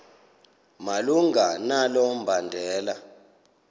malunga nalo mbandela